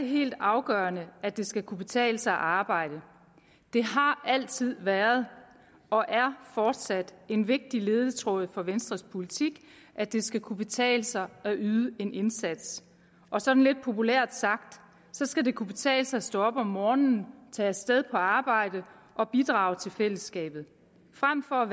helt afgørende at det skal kunne betale sig at arbejde det har altid været og er fortsat en vigtig ledetråd for venstres politik at det skal kunne betale sig at yde en indsats og sådan lidt populært sagt skal det kunne betale sig at stå op om morgenen tage af sted på arbejde og bidrage til fællesskabet frem for at